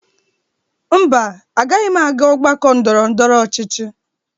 Mba, agaghị m aga ọgbakọ ndọrọndọrọ ọchịchị.